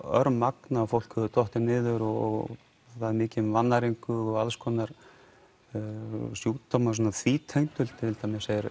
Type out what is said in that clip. örmagna og fólk hefur dottið niður og það er mikið um vannæringu og alls konar sjúkdóma því tengdu til dæmis er